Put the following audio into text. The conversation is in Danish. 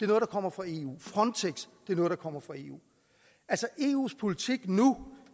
der kommer fra eu frontex er noget der kommer fra eu eus politik nu